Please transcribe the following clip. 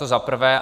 To za prvé.